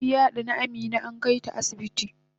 maciji yadani Amina ankaita asibiti